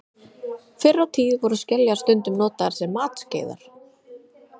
Fyrr á tíð voru skeljar stundum notaðar sem matskeiðar.